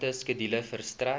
aparte skedule verstrek